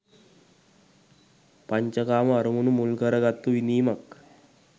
පංච කාම අරමුණු මුල් කරගත්තු විඳීමක්.